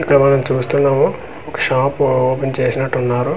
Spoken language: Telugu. ఇక్కడ మనము చూస్తున్నాము ఒక షాప్ ఓపెన్ చేసి ఉన్నట్టు ఉన్నారు.